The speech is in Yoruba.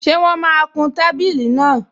Ṣé wọ́n máa kun tábìlì náà?